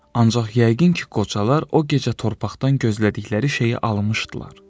Ancaq yəqin ki, qocalar o gecə torpaqdan gözlədikləri şeyi almışdılar.